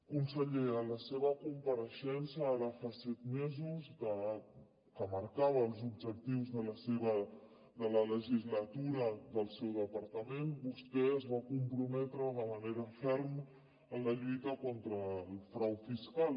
conseller a la seva compareixença ara fa set mesos que marcava els objectius de la legislatura del seu departament vostè es va comprometre de manera ferma en la lluita contra el frau fiscal